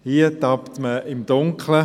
Hier tappt man im Dunkeln.